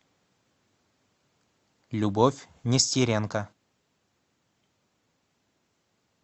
любовь нестеренко